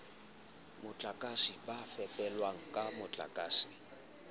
motlakase ba fepelwang ka motlakase